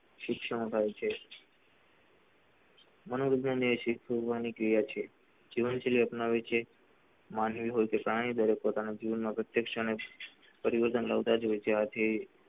શિક્ષણ થાય છે , મનોજ ભૈયા એવી કુરબાની clear છે જીવન શૈલી અપનાવી છે માંગીલી હોય કે પુરાણી દરેક પોતાના પ્રત્યક્ષ અને પરિવર્તન લાવતા જ હોય છે, આજે શિક્ષણ હોય છે.